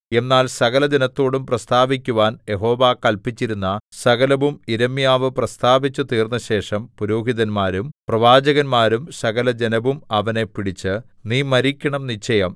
എന്നാൽ സകലജനത്തോടും പ്രസ്താവിക്കുവാൻ യഹോവ കല്പിച്ചിരുന്ന സകലവും യിരെമ്യാവ് പ്രസ്താവിച്ചുതീർന്നശേഷം പുരോഹിതന്മാരും പ്രവാചകന്മാരും സകലജനവും അവനെ പിടിച്ചു നീ മരിക്കണം നിശ്ചയം